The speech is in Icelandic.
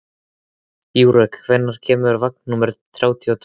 Júrek, hvenær kemur vagn númer þrjátíu og tvö?